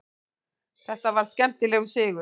Þetta var skemmtilegur sigur.